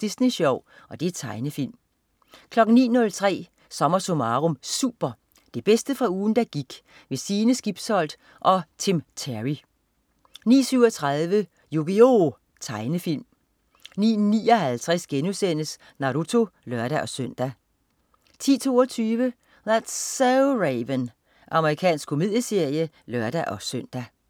Disney Sjov.* Tegnefilm 09.03 SommerSummarum Super. Det bedste fra ugen der gik. Sine Skibsholt og Tim Terry 09.37 Yu-Gi-Oh! Tegnefilm 09.59 Naruto* (lør-søn) 10.22 That's so Raven. Amerikansk komedieserie (lør-søn)